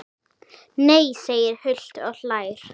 Nei segir Hult og hlær.